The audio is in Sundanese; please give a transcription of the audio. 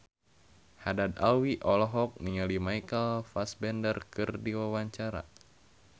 Haddad Alwi olohok ningali Michael Fassbender keur diwawancara